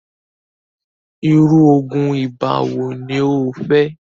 irú oògùn ibà wo ní o fẹ́?